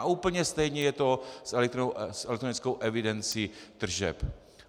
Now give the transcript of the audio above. A úplně stejně je to s elektronickou evidencí tržeb.